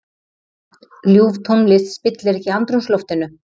Ljúf tónlist spillir ekki andrúmsloftinu.